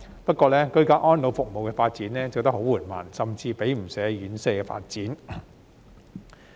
不過，居家安老服務的發展很緩慢，甚至比不上院舍發展。